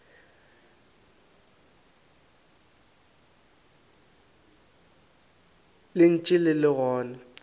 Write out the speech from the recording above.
le ntše le le gona